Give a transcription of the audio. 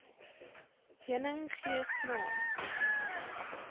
heuning gee smaak